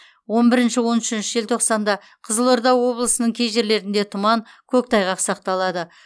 он бірінші он үшінші желтоқсанда қызылорда облысының кей жерлерінде тұман көктайғақ сақталады